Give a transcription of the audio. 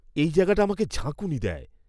এই জায়গাটি আমাকে ঝাঁকুনি দেয়।